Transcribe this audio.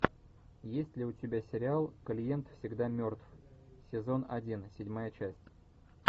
есть ли у тебя сериал клиент всегда мертв сезон один седьмая часть